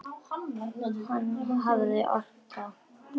Hann hafði ort það.